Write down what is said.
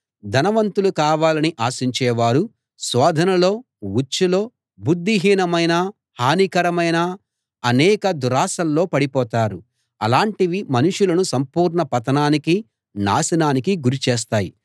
ధనవంతులు కావాలని ఆశించేవారు శోధనలో ఉచ్చులో బుద్ధిహీనమైన హానికరమైన అనేక దురాశల్లో పడిపోతారు అలాంటివి మనుషులను సంపూర్ణ పతనానికి నాశనానికీ గురిచేస్తాయి